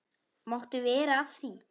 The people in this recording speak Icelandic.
Máttu vera að því?